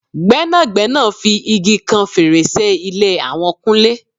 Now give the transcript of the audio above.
Gbẹ́nàgbẹ́nà fi igi kan fèrèsé ilé àwọn kúnlé